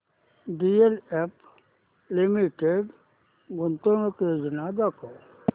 DLF limited गुंतवणूक योजना दाखव